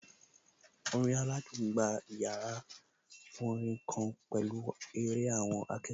Orin aládùn gba yàrá orin kan pẹ̀lú eré àwọn akẹ́kọ̀ọ́